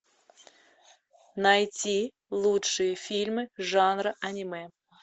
найти лучшие фильмы жанра аниме